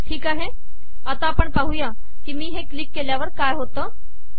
ठीक आता आपण पाहू की मी हे क्लिक केल्यावर काय होते